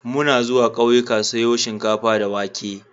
Muna zuwa ƙauyika siyo shinkafa da wake.